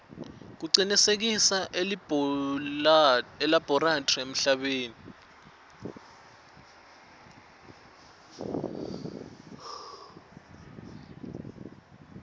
kucinisekise ilabholathri emhlabeni